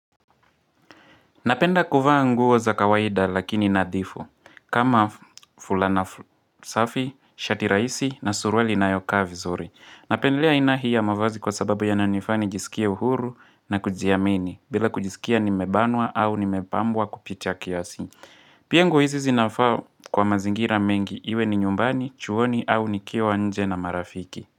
Napenda kuvaa nguo za kawaida lakini nadhifu. Kama fulana safi, shati rahisi na surwali inayokaa vizuri Napendelea aina hii ya mavazi kwa sababu yananifaa nijiskie uhuru na kujiamini. Bila kujiskia nimebanwa au ni mepambwa kupita kiasi. Pia nguo hizi zinafaa kwa mazingira mengi. Iwe ni nyumbani, chuoni au nikiwa nje na marafiki.